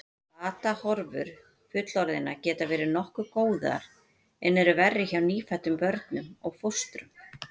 Batahorfur fullorðinna geta verið nokkuð góðar en eru verri hjá nýfæddum börnum og fóstrum.